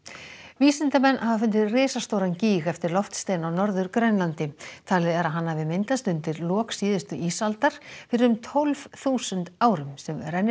vísindamenn hafa fundið risastóran gíg eftir loftstein á Norður Grænlandi talið er að hann hafi myndast undir lok síðustu ísaldar fyrir um tólf þúsund árum sem rennir